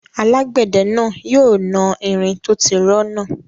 Alágbẹ̀dẹ náà yóò na irin tó tí rọ́ náà